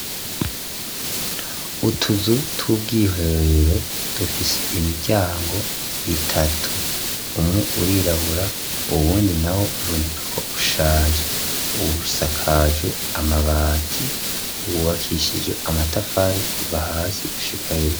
Utuzu t'ubwiherero dufise imiryango itatu umwe urirabura uwundi na we uibunekako ushaje uwusakajwe amabati uwubakishije amatafare kuva hasi gushika yoie.